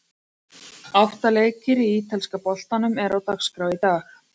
Átta leikir í ítalska boltanum eru á dagskrá í dag.